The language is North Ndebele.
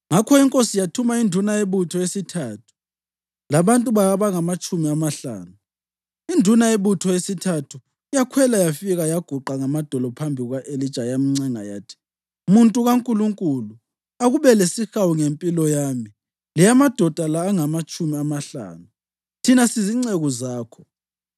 Ngakho inkosi yathuma induna yebutho yesithathu labantu bayo abangamatshumi amahlanu. Induna yebutho yesithathu yakhwela yafika yaguqa ngamadolo phambi kuka-Elija yamncenga yathi, “Muntu kaNkulunkulu, akube lesihawu ngempilo yami leyamadoda la angamatshumi amahlanu, thina sizinceku zakho!